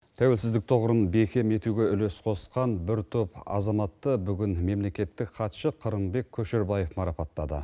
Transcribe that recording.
тәуелсіздік тұғырын бекем етуге үлес қосқан бір топ азаматты бүгін мемлекеттік хатшы қырымбек көшербаев марапаттады